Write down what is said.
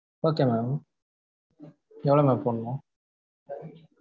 okay mam எவ்வளோ mam போடணும்?